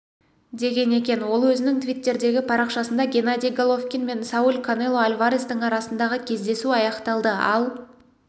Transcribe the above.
деген екен ол өзінің твиттердегі парақшасында геннадий головкин мен сауль канело альварестің арасындағы кездесу аяқталды ал